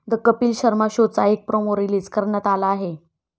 The Kapil Sharma शोचा एक promo release करण्यात आला आहे.